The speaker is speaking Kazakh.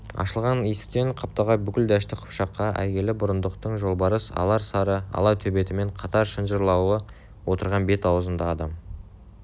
ашылған есіктен қаптағай бүкіл дәшті қыпшаққа әйгілі бұрындықтың жолбарыс алар сары ала төбетімен қатар шынжырлаулы отырған бет-аузында адам